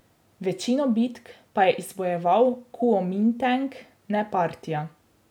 Večino bitk pa je izbojeval kuomintang, ne partija.